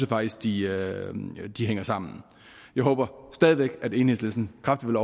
faktisk de hænger sammen jeg håber stadig væk at enhedslisten kraftigt